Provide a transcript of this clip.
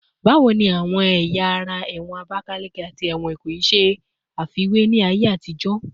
Bawo ni awọn ẹya ara ẹwọn Abakaleke ati ẹwọn Ikoyi ṣe afiwe ni aye atijo?